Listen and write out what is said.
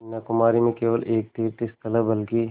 कन्याकुमारी में केवल एक तीर्थस्थान है बल्कि